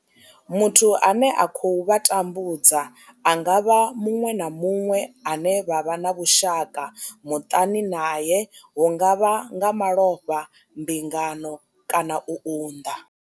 Muthu ane a khou vha tambudza a nga vha muṅwe na muṅwe ane vha vha na vhushaka muṱani nae hu nga vha nga malofha, mbingano kana u unḓa.